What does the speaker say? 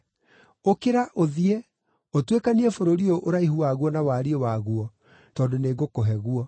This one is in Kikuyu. Ũkĩra ũthiĩ, ũtuĩkanie bũrũri ũyũ ũraihu waguo na wariĩ waguo, tondũ nĩngũkũhe guo.”